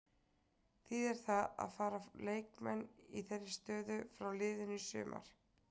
Þýðir það að fara leikmenn í þeirri stöðu frá liðinu í sumar?